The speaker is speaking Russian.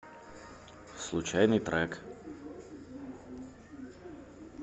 случайный трек